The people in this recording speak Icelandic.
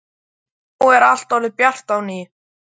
Og nú er allt orðið bjart á ný.